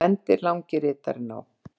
bendir langi ritarinn á.